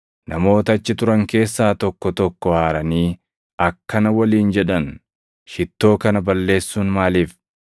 Namoota achi turan keessaa tokko tokko aaranii akkana waliin jedhan; “Shittoo kana balleessuun maaliif?